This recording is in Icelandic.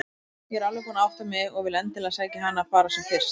Ég er alveg búin að átta mig og vil endilega sækja hana bara sem fyrst.